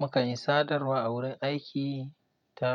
Mukan yi sadarwa a wurin aiki ta